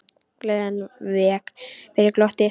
Gleðin vék fyrir glotti.